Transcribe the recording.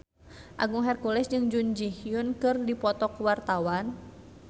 Agung Hercules jeung Jun Ji Hyun keur dipoto ku wartawan